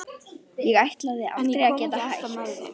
Ég ætlaði aldrei að geta hætt.